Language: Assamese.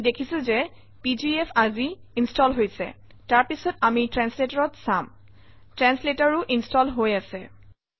আপুনি দেখিছে যে পিজিএফ আজি ইনষ্টল হৈছে তাৰপিছত আমি translator অত চাম translator ও ইনষ্টল হৈ আছে